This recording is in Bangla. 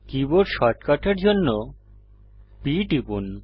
কীবোর্ড শর্টকাটের জন্য P টিপুন